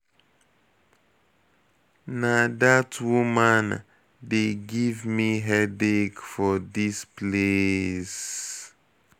Na dat woman de give me headache for dis place.